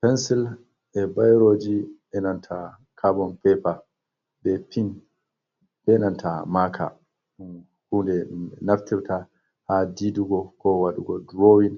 Pensil, e boroji, enanta kabon pepe, bepin benanta maka ɗum hunde ɗum ɓe naftirta ha didugo ko waɗugo drowin,